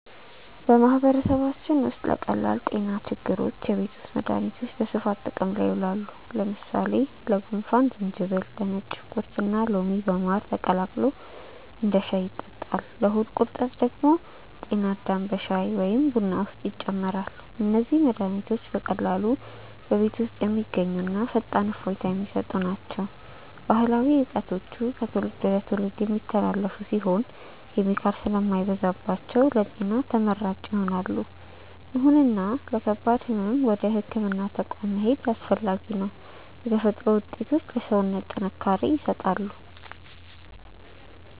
በማህበረሰባችን ውስጥ ለቀላል ጤና ችግሮች የቤት ውስጥ መድሃኒቶች በስፋት ጥቅም ላይ ይውላሉ። ለምሳሌ ለጉንፋን ዝንጅብል፣ ነጭ ሽንኩርትና ሎሚ በማር ተቀላቅሎ እንደ ሻይ ይጠጣል። ለሆድ ቁርጠት ደግሞ ጤና አዳም በሻይ ወይም በቡና ውስጥ ይጨመራል። እነዚህ መድሃኒቶች በቀላሉ በቤት ውስጥ የሚገኙና ፈጣን እፎይታ የሚሰጡ ናቸው። ባህላዊ እውቀቶቹ ከትውልድ ወደ ትውልድ የሚተላለፉ ሲሆኑ፣ ኬሚካል ስለማይበዛባቸው ለጤና ተመራጭ ይሆናሉ። ይሁንና ለከባድ ህመም ወደ ህክምና ተቋም መሄድ አስፈላጊ ነው። የተፈጥሮ ውጤቶች ለሰውነት ጥንካሬ ይሰጣሉ።